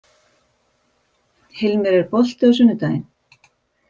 Hilmir, er bolti á sunnudaginn?